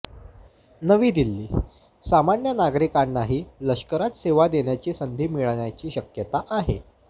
नवी दिल्लीः सामान्य नागरिकांनाही लष्करात सेवा देण्याची संधी मिळण्याची शक्यता आहे